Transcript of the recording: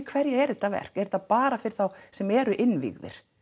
hverja er þetta verk er þetta bara fyrir þá sem eru innvígiðir